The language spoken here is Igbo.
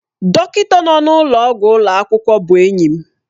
Dọkịta nọ n'ụlọọgwụ ụlọ akwụkwọ bụ enyi m.